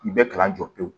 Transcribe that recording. K'i bɛɛ kalan jɔ pewu